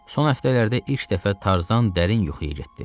Son həftələrdə ilk dəfə Tarzan dərin yuxuya getdi.